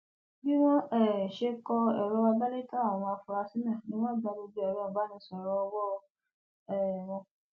bí wọn um ṣe kọ ẹrọ àgbélétàn àwọn afurasí náà ni wọn gba gbogbo ẹrọ ìbánisọrọ ọwọ um wọn